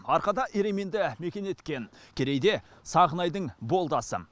арқада ерейменді мекен еткен керейде сағынайдың болды асы